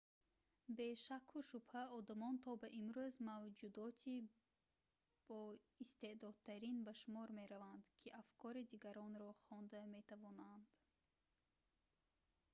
бе шакку шубҳа одамон то ба имрӯз мавҷудоти боистеъдодтарин ба шумор мераванд ки афкори дигаронро хонда метавонанд